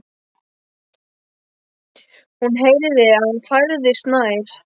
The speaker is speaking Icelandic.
Hún heyrði að hann færðist nær.